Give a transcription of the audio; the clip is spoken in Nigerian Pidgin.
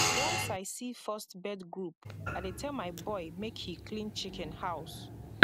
once i see first bird group i dey tell my boy make he clean chicken house